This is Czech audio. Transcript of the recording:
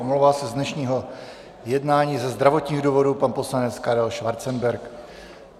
Omlouvá se z dnešního jednání ze zdravotních důvodů pan poslanec Karel Schwarzenberg.